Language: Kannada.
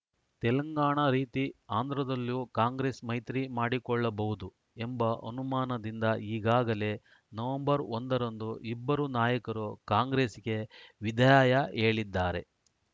ತೆಲಂಗಾಣ ರೀತಿ ಆಂಧ್ರದಲ್ಲೂ ಕಾಂಗ್ರೆಸ್‌ ಮೈತ್ರಿ ಮಾಡಿಕೊಳ್ಳಬಹುದು ಎಂಬ ಅನುಮಾನದಿಂದ ಈಗಾಗಲೇ ನವೆಂಬರ್ ಒಂದ ರಂದು ಇಬ್ಬರು ನಾಯಕರು ಕಾಂಗ್ರೆಸ್ಸಿಗೆ ವಿದಾಯ ಹೇಳಿದ್ದಾರೆ